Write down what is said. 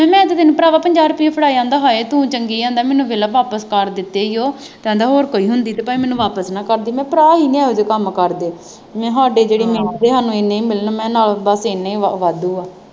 ਮੈਂ ਕਿਹਾ ਤੈਨੂੰ ਭਰਾਵਾ ਪੰਜਾਹ ਰੁਪਈਏ ਫੜਾ ਆਉਂਦਾ, ਹਾਏ ਤੂੰ ਚੰਗੀ ਕਹਿੰਦਾ ਮੈਨੂੰ ਬਿੱਲ ਵਾਪਸ ਕਰ ਦਿੱਤੇ ਉਹ, ਕਹਿੰਦਾ ਹੋਰ ਕੋਈ ਹੁੰਦੀ ਤਾਂ ਭਾਵੇਂ ਮੈਨੂੰ ਵਾਪਸ ਨਾ ਕਰਦੀ, ਮੈਂ ਕਿਹਾ ਭਰਾ ਅਸੀਂ ਨਹੀਂ ਇਹੋ ਜਿਹੇ ਕੰਮ ਕਾਰ ਕਰਦੇ, ਮੈਂ ਕਿਹਾ ਸਾਡੇ ਜਿਹੜੀ ਮਿਹਨਤ ਦੇ ਸਾਨੂੰ ਐਨੇ ਹੀ ਮਿਲਣ, ਮੈਂ ਕਿਹਾ ਨਾ ਬਸ ਐਨੇ ਵਾਧੂ ਆ